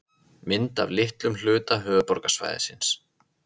Mynd af litlum hluta höfuðborgarsvæðisins.